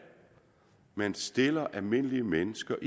man stiller almindelige mennesker